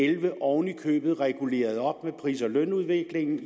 elleve oven i købet reguleret op med pris og lønudviklingen